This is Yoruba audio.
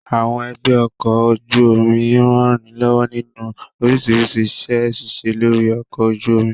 Àwọn ẹgbẹ́ ọkọ̀ ojú omi ń ranilọ́wọ́ nínú oríṣiríṣi iṣẹ́ ṣíṣe lórí ọkọ̀ ojú omi